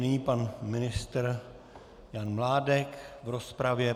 Nyní pan ministr Jan Mládek v rozpravě.